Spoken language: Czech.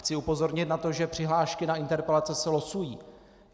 Chci upozornit na to, že přihlášky na interpelace se losují.